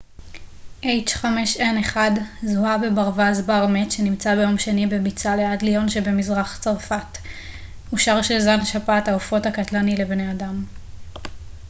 אושר שזן שפעת העופות הקטלני לבני אדם h5n1 זוהה בברווז בר מת שנמצא ביום שני בביצה ליד ליון שבמזרח צרפת